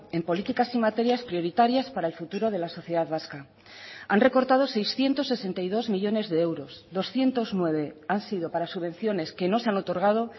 en políticas y materias prioritarias para el futuro de la sociedad vasca han recortado seiscientos sesenta y dos millónes de euros doscientos nueve han sido para subvenciones que no se han otorgado